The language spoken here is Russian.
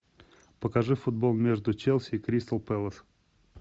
покажи футбол между челси и кристал пэлас